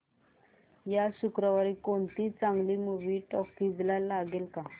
या शुक्रवारी कोणती चांगली मूवी टॉकीझ ला लागेल का